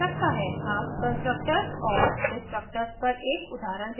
अब constructors and destructors पर एक उदाहरण देखते हैं